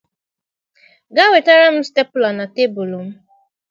Gaa wetara m Stepụla na tebụl m.